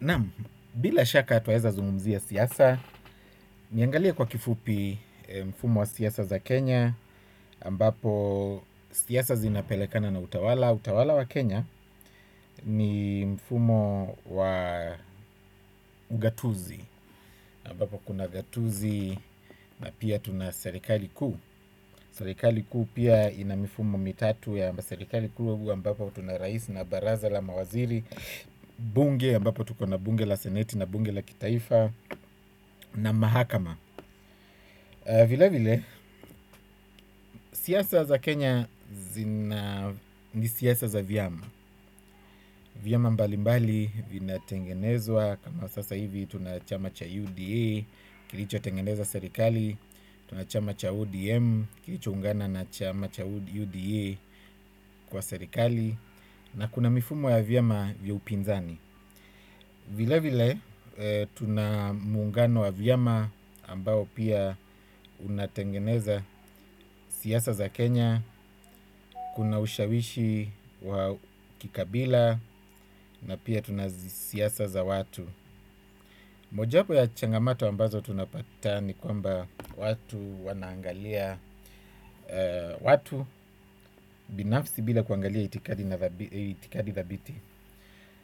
Naam, bila shaka twaweza zungumzia siasa, niangalie kwa kifupi mfumo wa siasa za Kenya, ambapo siasa zinapelekana na utawala. Utawala wa Kenya ni mfumo wa ugatuzi, ambapo kuna gatuzi na pia tuna serikali kuu. Serikali kuu pia ina mifumo mitatu ya serikali kuu ambapo tuna rais na baraza la mawaziri. Bunge, ambapo tuko na bunge la seneti na bunge la kitaifa na mahakama vilevile siasa za Kenya ni siasa za vyama. Vyama mbalimbali vinatengenezwa kama sasa hivi tuna chama cha UDA kilichotengeneza serikali. Tuna chama cha ODM, kilichoungana na chama cha UDA kwa serikali. Na kuna mifumo ya vyama vya upinzani. Vilevile, tuna muungano wa vyama ambao pia unatengeneza siasa za Kenya, kuna ushawishi wa kikabila, na pia tuna siasa za watu. Mojawapo ya changamato ambazo tunapata ni kwamba watu wanaangalia watu binafsi bila kuangalia itikadi thabiti.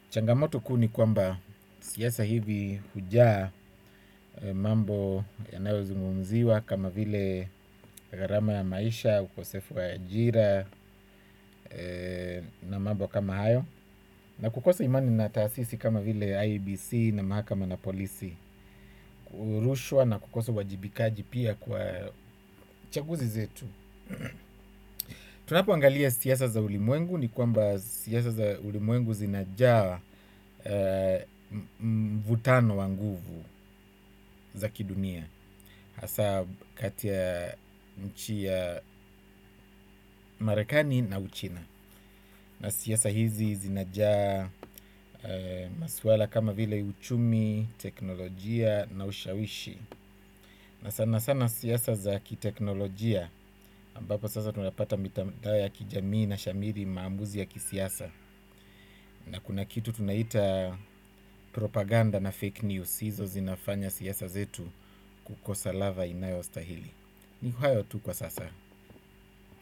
Changamoto kuu ni kwamba siasa hivi hujaa mambo yanayozungumziwa kama vile gharama ya maisha, ukosefu wa ajira na mambo kama hayo na kukosa imani na taasisi kama vile IEBC na mahakama na polisi. Rushwa na kukosa uwajibikaji pia kwa chaguzi zetu tunapoangalia siasa za ulimwengu ni kwamba siasa za ulimwengu zinajaa vutano wa nguvu za kidunia. Hasa kati ya nchi ya marekani na uchina. Na siasa hizi zinajaa maswala kama vile uchumi, teknolojia na ushawishi na sana sana siasa za kiteknolojia ambapo sasa tunapata mitandao ya kijamii inashamiri maamuzi ya kisiasa. Na kuna kitu tunaita propaganda na fake news hizo zinafanya siasa zetu kukosa ladha inayostahili ni hayo tu kwa sasa.